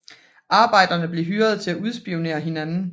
Arbejderne blev hyret til at udspionere hinanden